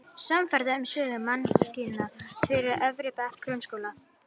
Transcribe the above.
Samferða um söguna: Mannkynssaga fyrir efri bekki grunnskóla.